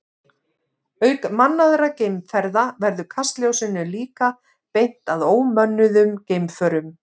Auk mannaðra geimferða verður kastljósinu líka beint að ómönnuðum geimförum.